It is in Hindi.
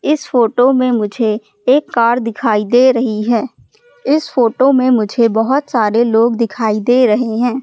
इस फोटो में मुझे एक कार दिखाई दे रही है इस फोटो में मुझे बहोत सारे लोग दिखाई दे रहे हैं।